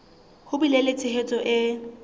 ho bile le tshehetso e